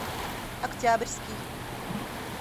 октябрьский